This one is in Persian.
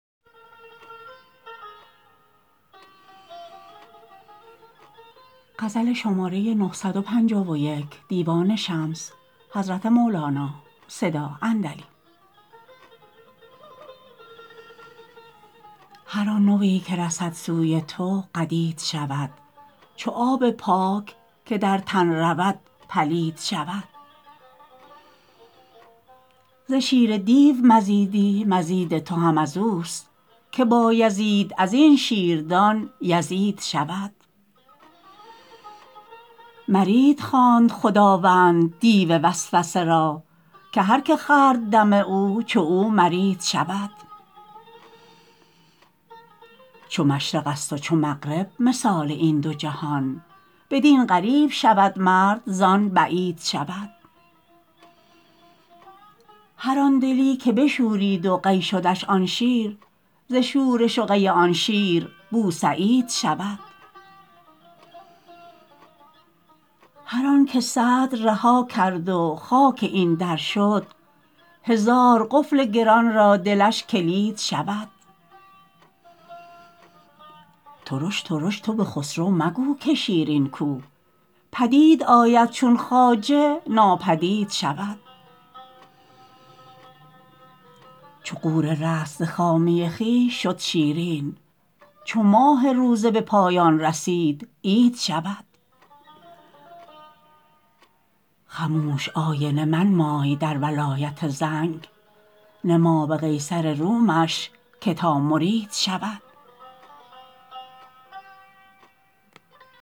هر آن نوی که رسد سوی تو قدید شود چو آب پاک که در تن رود پلید شود ز شیر دیو مزیدی مزید تو هم از اوست که بایزید از این شیردان یزید شود مرید خواند خداوند دیو وسوسه را که هر که خورد دم او چو او مرید شود چو مشرقست و چو مغرب مثال این دو جهان بدین قریب شود مرد زان بعید شود هر آن دلی که بشورید و قی شدش آن شیر ز شورش و قی آن شیر بوسعید شود هر آنک صدر رها کرد و خاک این در شد هزار قفل گران را دلش کلید شود ترش ترش تو به خسرو مگو که شیرین کو پدید آید چون خواجه ناپدید شود چو غوره رست ز خامی خویش شد شیرین چو ماه روزه به پایان رسید عید شود خموش آینه منمای در ولایت زنگ نما به قیصر رومش که تا مرید شود